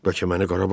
Bəlkə məni qara basır.